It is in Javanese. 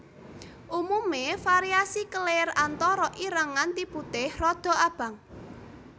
Umume variasi kelir antara ireng nganti putih rada abang